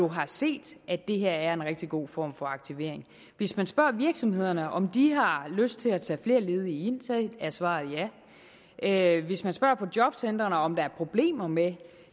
har set at det her er en rigtig god form for aktivering hvis man spørger virksomhederne om de har lyst til at tage flere ledige ind er svaret ja hvis man spørger på jobcentrene om der er problemer med